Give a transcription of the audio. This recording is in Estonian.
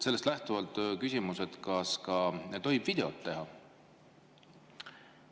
Sellest lähtuvalt küsimus: kas tohib ka videot teha?